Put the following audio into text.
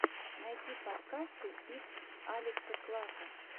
найти подкасты итс алекса клака